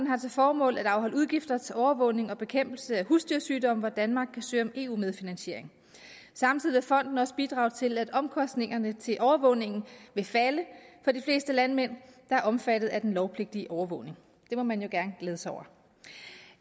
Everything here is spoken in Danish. har til formål at afholde udgifter til overvågning og bekæmpelse af husdyrsygdomme hvor danmark kan søge om eu medfinansiering samtidig vil fonden også bidrage til at omkostningerne til overvågningen vil falde for de fleste landmænd der er omfattet af den lovpligtige overvågning det må man jo gerne glæde sig over